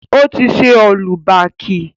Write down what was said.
Ó ti ṣe ọ́lú baàkì.